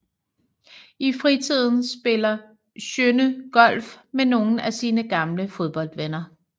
I fritiden spiller Sjønne golf med nogle af sine gamle fodboldvenner